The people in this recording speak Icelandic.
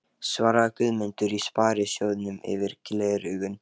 svaraði Guðmundur í Sparisjóðnum yfir gleraugun.